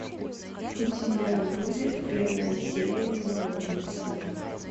у тебя будет первая серия заложница